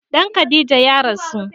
Ɗan Khadija ya rasu